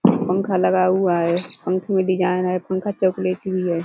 पंखा लगा हुआ है। पंखे में डिजाईन है पंखा चोकोलेटी है।